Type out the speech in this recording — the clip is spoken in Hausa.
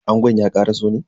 Angon ya karaso ne?